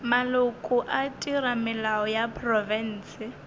maloko a theramelao ya profense